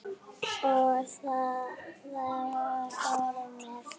Og var horfinn með.